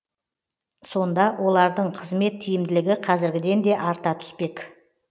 сонда олардың қызмет тиімділігі қазіргіден де арта түспек